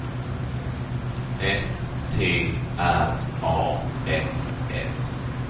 S T R A F F